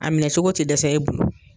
A minɛ sogo tɛ dɛsɛ e bolo.